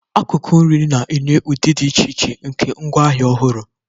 Akụkụ nri na-enye ụdị dị iche iche nke ngwaahịa ọhụrụ.